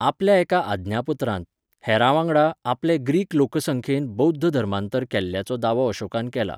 आपल्या एका आज्ञापत्रांत, हेरांवांगडा आपले ग्रीक लोकसंख्येन बौध्द धर्मांतर केल्ल्याचो दावो अशोकान केला.